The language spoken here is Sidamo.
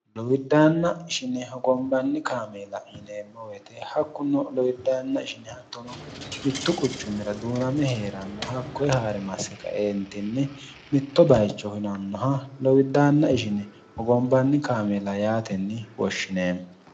lowiddaanna ishine hogombanni kaameela yineemowete hakkunno lowiddaanna ishine hattono mittu quchummira duuname hee'ranno hakkoye haa're masse kaeentinne mitto bayicho hinannoha lowiddaanna ishine hogombanni kaameela yaatenni woshshine